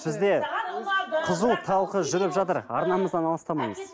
бізде қызу талқы жүріп жатыр арнамыздан алыстамаңыз